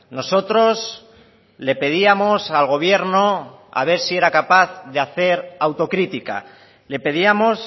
nosotros le pedíamos al gobierno a ver si era capaz de hacer autocrítica le pedíamos